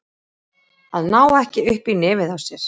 Að ná ekki upp í nefið á sér